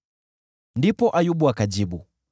Ndipo Ayubu akajibu: